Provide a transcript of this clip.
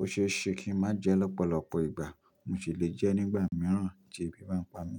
óṣeéṣe kí n má jẹ lọ́pọ̀lọpọ̀ ìgbà. Mo ṣì lè jẹ nígbà mìíràn tí ebi bá ń pa mí.